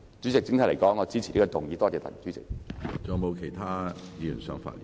主席，整體而言，我支持這項議案，多謝主席。